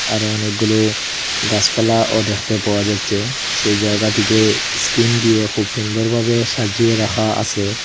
আরও অনেকগুলো গাসপালা ও দেখতে পাওয়া যাচ্চে সেই জয়গাটিকে স্কীন দিয়ে খুব সুন্দর ভাবে সাজিয়ে রাখা আসে।